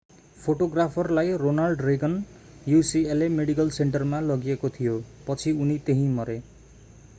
फोटोग्राफरलाई ronald reagan ucla medical सेन्टरमा लगिएको थियो पछि उनी त्यहीँमरे